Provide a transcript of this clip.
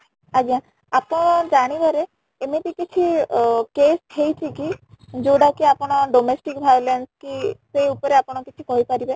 ଆଜ୍ଞା , ଆପଣ ଜାଣିବାରେ ଏମିତି କିଛି case ହେଇଚି କି ଯୋଉଟା କି ଆପଣ domestic violence କି ସେଇ ଉପରେ ଆପଣ କିଛି କହି ପାରିବେ ?